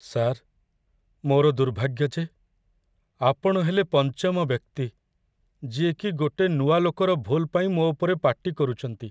Sir, ମୋର ଦୁର୍ଭାଗ୍ୟ ଯେ ଆପଣ ହେଲେ ପଞ୍ଚମ ବ୍ୟକ୍ତି ଯିଏକି ଗୋଟେ ନୂଆ ଲୋକର ଭୁଲ୍ ପାଇଁ ମୋ ଉପରେ ପାଟିକରୁଛନ୍ତି ।